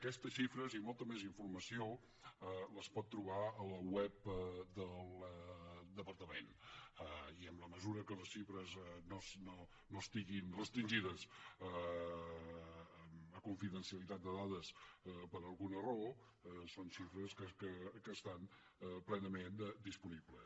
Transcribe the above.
aquestes xifres i molta més informació les pot trobar a la web del departament i en la mesura que les xifres no estiguin restringides a confidencialitat de dades per alguna raó són xifres que estan plenament disponibles